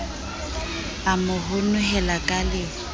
a mo honohela ka le